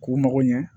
K'u mago ɲɛ